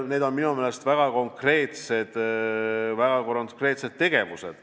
Need on minu meelest väga konkreetsed tegevused.